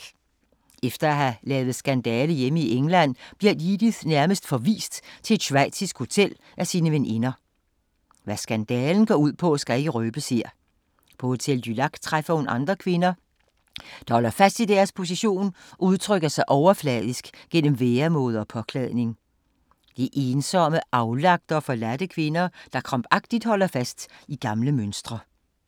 Efter at have lavet skandale hjemme i England bliver Edith nærmest forvist til et schweizisk hotel af sine veninder. Hvad skandalen går ud på, skal ikke røbes her. På Hotel du Lac træffer hun andre kvinder, der holder fast i deres position og udtrykker sig overfladisk gennem væremåde og påklædning. Det er ensomme, aflagte og forladte kvinder, der krampagtigt holder fast i gamle mønstre.